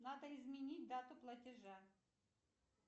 надо изменить дату платежа